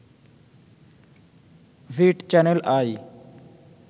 ভিট channel I